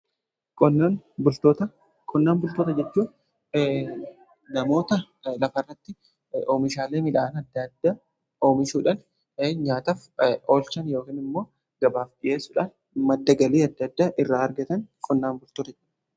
Qonnaan bultoota jechuun namoota lafarratti oomishaalee midhaan adda adda oomishuudhan nyaataf oolchan yookan immoo gabaaf dhi'eessudhaan madda galii adda adda irraa argatan qonnaan bultoota.